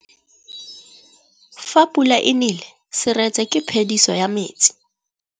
Fa pula e nelê serêtsê ke phêdisô ya metsi.